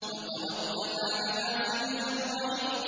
وَتَوَكَّلْ عَلَى الْعَزِيزِ الرَّحِيمِ